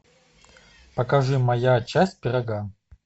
покажи моя часть пирога